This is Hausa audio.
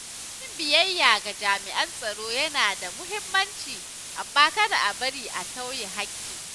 Yin biyayya ga jami’an tsaro yana da mahimmanci, amma kada a bari a tauye haƙƙi.